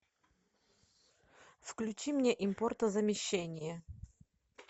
включи мне импортозамещение